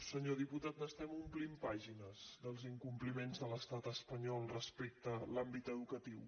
senyor diputat n’estem omplint pàgines dels incompliments de l’estat espanyol respecte a l’àmbit educatiu